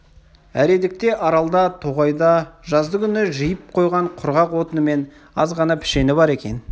әредікте аралда тоғайда жаздыгүні жиып қойған құрғақ отыны мен азғана пішені бар екен